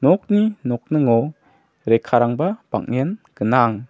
nokni nokningo rekkarangba bang·en gnang.